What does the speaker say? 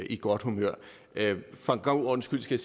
i godt humør for god ordens skyld skal